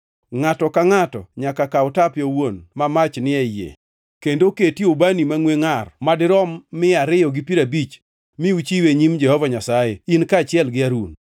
Ngʼato ka ngʼato nyaka kaw tape owuon ma mach ni e yie kendo oketie ubani mangʼwe ngʼar madirom mia ariyo gi piero abich mi uchiwe e nyim Jehova Nyasaye in kaachiel gi Harun.”